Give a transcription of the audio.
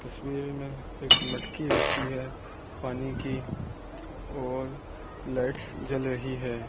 तस्वीर में एक मटकी रखी है पानी की और लाइट्स जल रही है।